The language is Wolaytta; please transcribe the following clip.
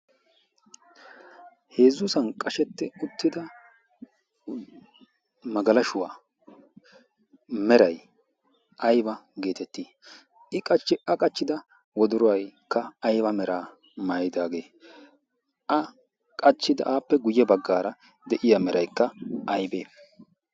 heezzuusan qashetti uttida magalashuwaa meray ayba geetettii i qachchi a qachchida woduruwaykka ayba meraa mayidaagee a qachchida aappe guyye baggaara de'iya meraykka aybee?